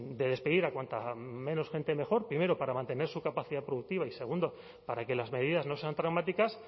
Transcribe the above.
de despedir a cuanta menos gente mejor primero para mantener su capacidad productiva y segundo para que las medidas no sean traumáticas